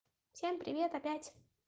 всем привет опять